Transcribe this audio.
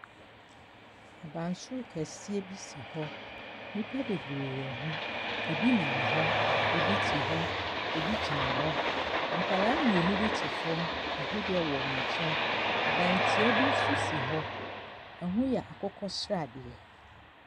Abansoro kɛseɛ bi si hɔ, nnipa bebree wɔ ho, bi nam hɔ, bi te hɔ, bi gyina hɔ. nkwadaa mmienu bi te fam, ahwedeɛ wɔ wɔn nkyɛn. dantia bi nso si hɔ, ne ho yɛ akokɔsradeɛ.